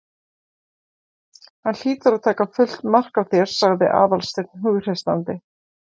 Hann hlýtur að taka fullt mark á þér- sagði Aðalsteinn hughreystandi.